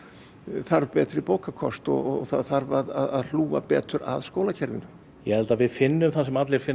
þarf betri bókakost og það þarf að hlúa betur að skólakerfinu ég held að við finnum það sem allir finna